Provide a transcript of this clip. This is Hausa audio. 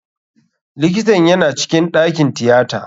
Likitan yana cikin ɗakin tiyata.